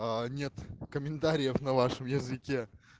нет комментариев на вашем языке